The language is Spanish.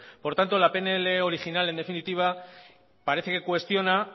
por tanto la pnl original en definitiva parece que cuestiona